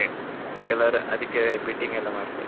ಕೆಲವ್ರು ಅದಿಕ್ಕೆ bidding ಎಲ್ಲಾ ಮಾಡ್ತಾರೆ.